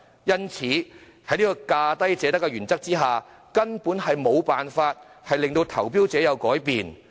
因此，在價低者得的原則下，根本無法令投標者改變。